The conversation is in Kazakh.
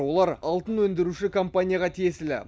олар алтын өндіруші компанияға тиесілі